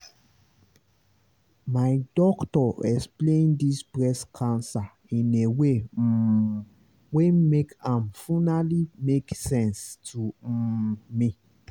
my doctor explained this breast cancer in a way um wen make am funally make sense to um me